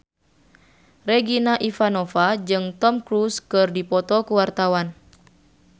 Regina Ivanova jeung Tom Cruise keur dipoto ku wartawan